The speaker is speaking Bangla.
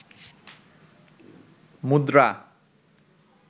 মুদ্রা